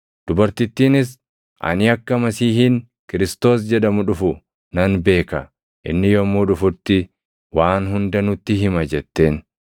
Dubartittiinis, “Ani akka Masiihiin Kiristoos jedhamu dhufu nan beeka. Inni yommuu dhufutti waan hunda nutti hima” jetteen.